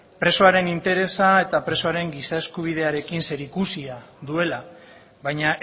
presoaren interesa eta presoaren giza eskubidearekin zerikusia duela baina